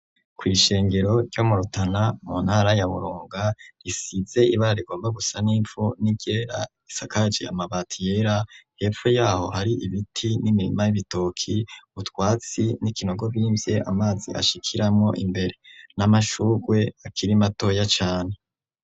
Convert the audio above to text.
Kw’ishengero ry'murutana mu ntara yaburunga risize ibara rigomba gusa n'impfu niryera isakaje amabati yera hepfo yaho hari ibiti n'imirima y'ibitoki utwatsi n'ikinogo bimvye amazi ashikiramo imbere n'amashurwe akirimatoya cane.